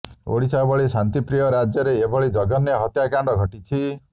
ଓଡ଼ିଶା ଭଳି ଶାନ୍ତିପ୍ରିୟ ରାଜ୍ୟରେ ଏଭଳି ଜଘନ୍ୟ ହତ୍ୟାକାଣ୍ଡ ଘଟିିଛି